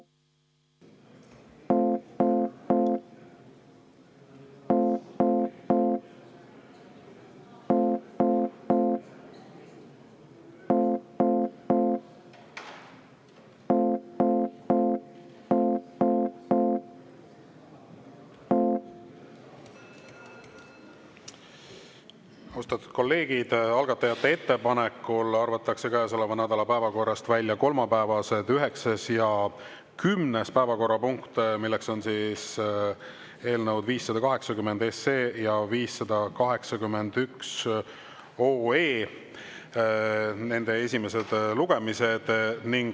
Austatud kolleegid, algatajate ettepanekul arvatakse käesoleva nädala päevakorrast välja kolmapäevased üheksas ja kümnes päevakorrapunkt, milleks on eelnõude 580 ja 581 esimesed lugemised.